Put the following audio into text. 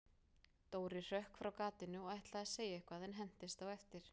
Dóri hrökk frá gatinu og ætlaði að segja eitthvað, en hentist á eftir